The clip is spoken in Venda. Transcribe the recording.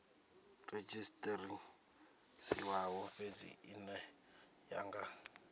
redzhisiṱarisiwaho fhedzi ine ya nga